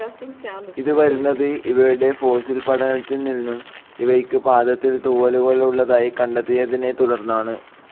ഇത് വരുന്നത്‌ ഇവയുടെ ഫോസിൽ പഠനത്തിൽ നിന്നും ഇവയ്ക് പാദത്തിൽ തൂവലുകൾ ഉള്ളതായി കണ്ടെത്തിയതിനെ തുടർന്നാണ്.